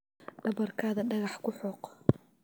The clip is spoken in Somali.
Dhabarkaada dhagax ku xoq.